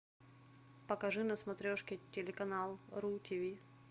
покажи на смотрешке телеканал ру ти ви